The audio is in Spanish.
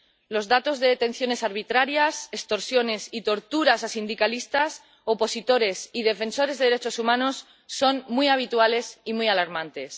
Los datos de detenciones arbitrarias, extorsiones y torturas a sindicalistas, opositores y defensores de derechos humanos son muy habituales y muy alarmantes.